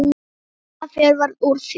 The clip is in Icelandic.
Kom fyrir að fjör varð úr því.